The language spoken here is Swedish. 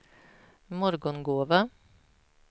Morgongåva